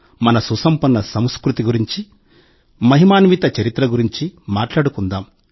మన సుసంపన్న సంస్కృతి గురించి మహిమాన్విత చరిత్ర గురించి మాట్లాడుకుంటాం